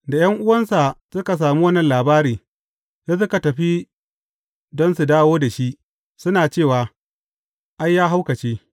Da ’yan’uwansa suka sami wannan labari, sai suka tafi don su dawo da shi, suna cewa, Ai, ya haukace.